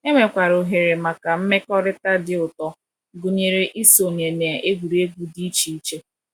Enwekwara ohere maka mmekọrịta dị ụtọ, gụnyere isonye na egwuregwu dị iche iche.